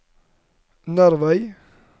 Nervei